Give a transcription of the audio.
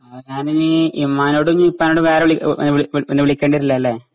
ആ ണ് ഞാനീ ഇമ്മാനോടു നി ഇപ്പാനോടും വേറെ വിളി ഓ എഹ് വിളി വിളി പിന്നെ വിളിക്കണ്ടി വരില്ലാല്ലേ?